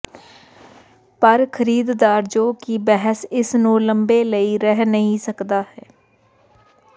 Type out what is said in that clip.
ਪਰ ਖਰੀਦਦਾਰ ਜੋ ਕਿ ਬਹਿਸ ਇਸ ਨੂੰ ਲੰਬੇ ਲਈ ਰਹਿ ਨਹੀ ਕਰਦਾ ਹੈ